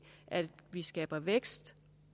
at vi skaber vækst